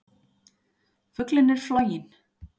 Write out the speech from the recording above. Fuglinn er floginn!